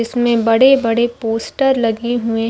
इसमें बड़े - बड़े पोस्टर लगे हुए --